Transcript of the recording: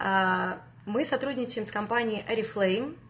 мы сотрудничаем с компанией орифлейм